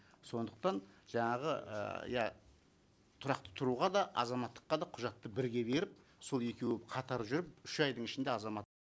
сондықтан жаңағы ыыы иә тұрақты тұруға да азаматтыққа да құжатты бірге беріп сол екеуі қатар жүріп үш айдың ішінде азамат